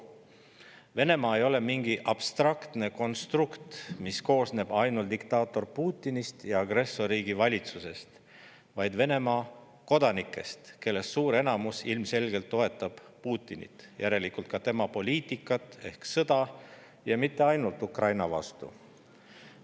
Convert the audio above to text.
Venemaa ei ole mingi abstraktne konstrukt, mis koosneb ainult diktaator Putinist ja agressorriigi valitsusest, vaid see koosneb Venemaa kodanikest, kellest suur enamus ilmselgelt toetab Putinit, järelikult ka tema poliitikat ehk sõda, ja mitte ainult Ukraina vastu.